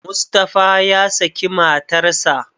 Mustapha ya saki matarsa.